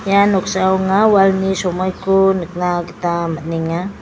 ia noksao anga walni somoiko nikna gita man·enga.